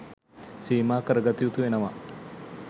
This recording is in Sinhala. සීමා කරගත යුතු වෙනවා.